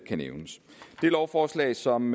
lovforslag som